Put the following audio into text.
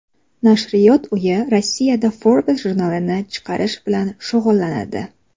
Nashriyot uyi Rossiyada Forbes jurnalini chiqarish bilan shug‘ullanadi.